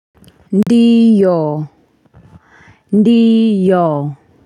Ndiyo Ndiyo.